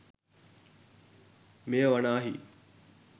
මෙය වනාහි